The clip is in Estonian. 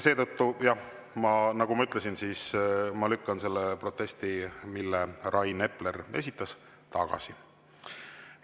Seetõttu, jah, nagu ma ütlesin, ma lükkan selle protesti, mille Rain Epler esitas, tagasi.